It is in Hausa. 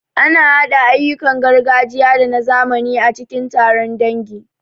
Ana haɗa ayyukan gargajiya da na zamani a cikin taron dangi.